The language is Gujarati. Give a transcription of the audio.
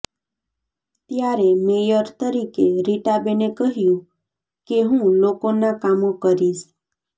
ત્યારે મેયર તરીકે રીટાબેને કહ્યુ કે હું લોકોના કામો કરીશ